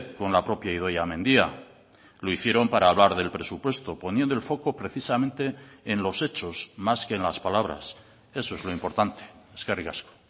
con la propia idoia mendia lo hicieron para hablar del presupuesto poniendo el foco precisamente en los hechos más que en las palabras eso es lo importante eskerrik asko